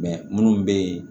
minnu bɛ yen